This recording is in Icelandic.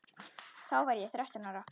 Þá var ég þrettán ára.